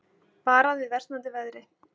Varað við versnandi veðri